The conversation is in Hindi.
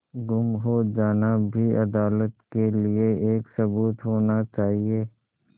गुम हो जाना भी अदालत के लिये एक सबूत होना चाहिए